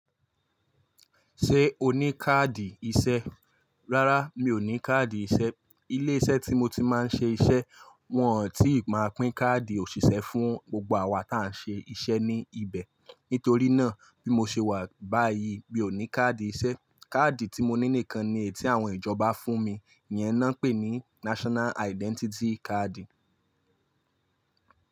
Ṣé o ní káàdì iṣẹ́? Rárá mi ò ní káàdì iṣẹ́. Ilé iṣẹ́ tí mo ti máa ń ṣe iṣẹ́ wọn ò tíì máa pín káàdì òṣìṣẹ́ fún gbogbo àwa táa ṣe iṣẹ́ ní ibẹ̀. Nítorí náà bí mo ṣe wà báyìí mi ò ní káàdì iṣẹ́. Káàdì tí mo ní nìkan ni èyí tí àwọn ìjọba fún mi, ìyẹn náà pè ní National Identity Card.